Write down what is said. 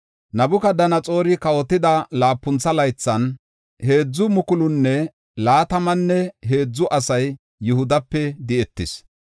Nabukadanaxoori kawotida laapuntho laythan, heedzu mukulunne laatamanne heedzu asay Yihudape di7etis.